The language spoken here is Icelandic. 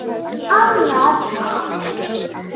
ANNAR APRÍL